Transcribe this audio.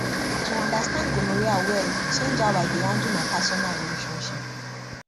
to understand gonorrhea well change how i dey handle my personal relationship